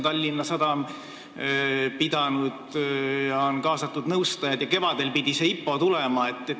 Tallinna Sadam on pidanud pressikonverentsi, on kaasatud nõustajad ja kevadel pidi see IPO tulema.